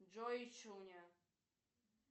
джой ищуня